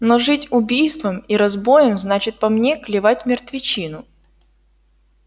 но жить убийством и разбоем значит по мне клевать мертвечину